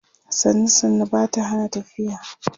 sannu sannu Bata Hana tafiya